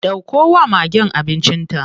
Ɗauko wa magen abincin ta.